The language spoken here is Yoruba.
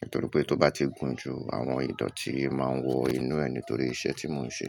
nítorí pé tó bá ti gùn jù, àwọn idọ̀tí máa ń wọ inú ẹ̀ nítorí iṣẹ́ tí mò ń ṣe.